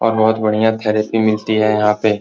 और बहुत बढ़िया थेरेपी मिलती है यहां पे।